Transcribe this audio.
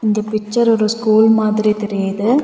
இந்த பிச்சர் ஒரு ஸ்கூல் மாதிரி தெரியுது.